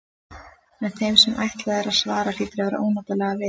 En þeim sem ætlað er að svara hlýtur að verða ónotalega við.